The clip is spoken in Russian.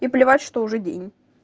и плевать что уже день